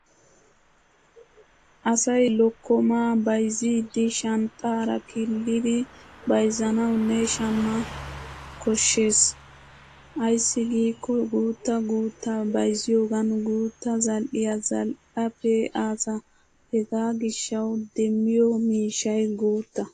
Asay lokkomaa bayzziiddi shanxxaara kilidi bayzzanawunne shamma koshshes. Ayssi giikko guuttaa guuttaa bayzziyogan guutta zal'iya zal'a pee'aasa hegaa gishshawu demmiyo miishshay guutta.